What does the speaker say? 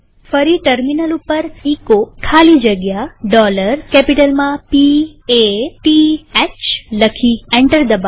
ફરી ટર્મિનલ ઉપર એચો ખાલી જગ્યા P A T Hકેપિટલમાં લખી એન્ટર દબાવીએ